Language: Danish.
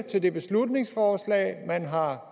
til det beslutningsforslag man har